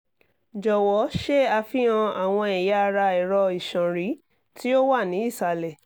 jọwọ ṣe afihan awọn ẹya ara ẹrọ iṣanrin ti o wa ni isalẹ